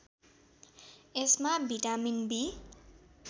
यसमा vitamin be